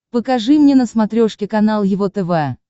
покажи мне на смотрешке канал его тв